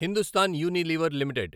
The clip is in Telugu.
Hindustan Unilever limited